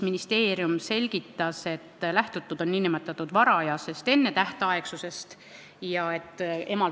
Ministeeriumi esindaja selgitas, et lähtutud on nn varajasest ennetähtaegsusest.